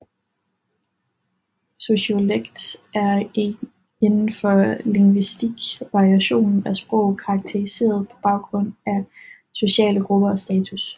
Sociolekt er inden for lingvistik variationen af sproget karakteriseret på baggrund af sociale grupper og status